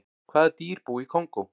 hvaða dýr búa í kongó